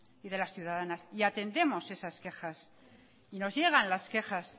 y las ciudadanas y atendemos esas quejas y nos llegan las quejas